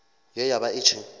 ye ya vha i tshi